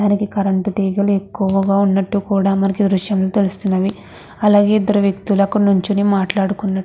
మనకి కరెంట్ తీగలు ఎక్కువగా ఉన్నట్టు కూడా మనకి ఈ దృశ్యంలో తెలుస్తున్నవి. అలాగే ఇద్దరూ ఇద్దరూ వ్యక్తులు అక్కడ నించొని మాట్లాడుతున్నట్టు--